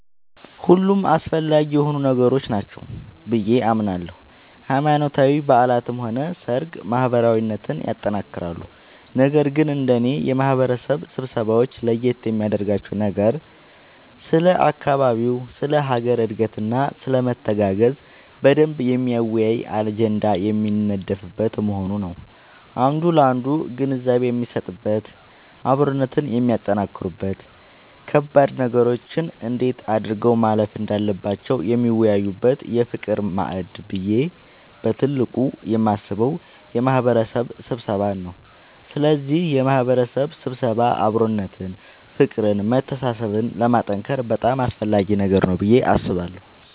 ሁሉም አስፈላጊ የሆኑ ነገሮች ናቸው ብዬ አምናለሁ ሃይማኖታዊ በዓላትም ሆነ ሰርግ ማህበራዊነትን ያጠነክራሉ ነገር ግን እንደኔ የማህበረሰብ ስብሰባወች ለየት የሚያደርጋቸው ነገር ስለ አካባቢ ስለ ሀገር እድገትና ስለመተጋገዝ በደንብ የሚያወያይ አጀንዳ የሚነደፍበት መሆኑ ነዉ አንዱ ላንዱ ግንዛቤ የሚሰጥበት አብሮነትን የሚያጠነክሩበት ከባድ ነገሮችን እንዴት አድርገው ማለፍ እንዳለባቸው የሚወያዩበት የፍቅር ማዕድ ብዬ በትልቁ የማስበው የማህበረሰብ ስብሰባን ነዉ ስለዚህ የማህበረሰብ ስብሰባ አብሮነትን ፍቅርን መተሳሰብን ለማጠንከር በጣም አስፈላጊ ነገር ነዉ ብዬ አስባለሁ።